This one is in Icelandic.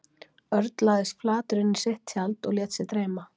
Örn lagðist flatur inn í sitt tjald og lét sig dreyma.